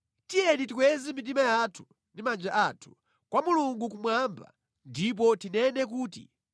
Tiyeni tikweze mitima yathu ndi manja athu kwa Mulungu kumwamba ndipo tinene kuti: